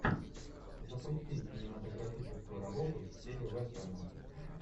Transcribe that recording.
запусти кинематографическую работу в стиле вестерна